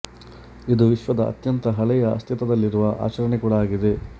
ಇದು ವಿಶ್ವದ ಅತ್ಯಂತ ಹಳೆಯ ಅಸ್ತಿತ್ವದಲ್ಲಿರುವ ಆಚರಣೆ ಕೂಡ ಆಗಿದೆ